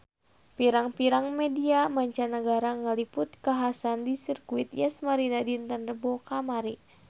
Pirang-pirang media mancanagara ngaliput kakhasan di Sirkuit Yas Marina dinten Rebo kamari